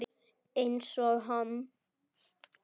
Einsog hann.